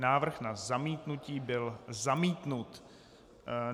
Návrh na zamítnutí byl zamítnut.